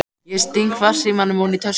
Ég sting farsímanum ofan í tösku.